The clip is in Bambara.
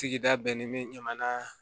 Sigida bɛɛ ni jamana